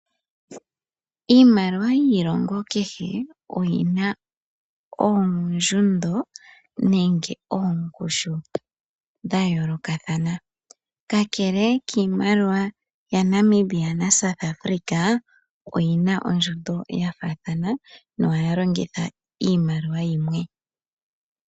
Iimaliwa yiilongo kehe oyi na ondjundo nenge ongushu dha yoolokathana. Kakele kiimaliwa ya Namibia na South Africa, oyi na ondjundo ya faathana ma ohaya longitha iimaliwa yimwe.